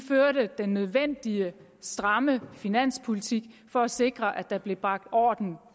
den nødvendige stramme finanspolitik for at sikre at der blev bragt orden